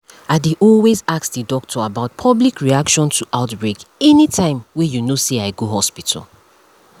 i dey always ask the doctor about public reaction to outbreak anytym wey you know say i go hospital